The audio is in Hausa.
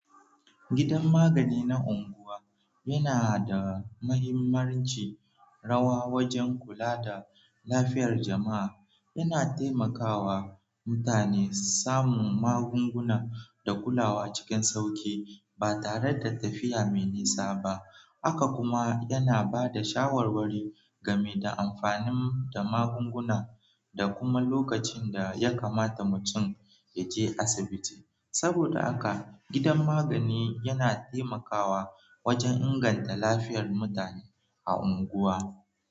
Gidan magani na unguwa yana da mahimmanci rawa wajen kula da lafiyar jama'a. Yana taimakawa mutane samun magunguna da kulawa cikin sauƙi ba tare da tafiya mai nisa ba. Haka kuma yana ba da shawarwari game da amfanin da magunguna da kuma lokacin da ya kamata mutum ya je asibiti. Saboda haka, gidan magani yana taimakawa wajen inganta lafiyar mutane a unguwa.